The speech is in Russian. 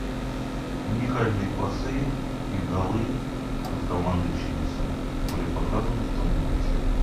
уникальные пасы и голы от команды челси были показаны в том матче